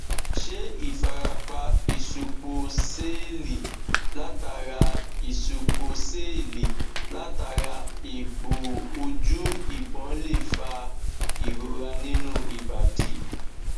ṣé ifarapa isupo seeli latara isupo seeli latara egbo oju ìbọn lè fa ìrora nínú ibadi